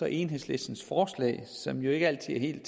enhedslistens forslag som ikke altid helt